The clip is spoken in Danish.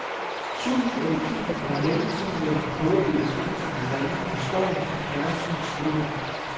Susen eller kimen, en mellemting mellem prøvebilledets enstonige ringen og støjen fra fjernsynets snevejr.